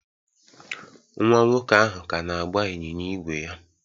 Nwa nwoke ahụ ka na-agba ịnyịnya ígwè ya